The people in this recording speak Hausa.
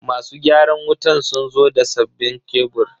Masu gyaran wutan sun zo da sabbinn kebur.